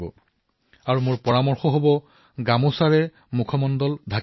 মইতো গামোচাৰ বাবে সৰল প্ৰস্তাৱ দিছো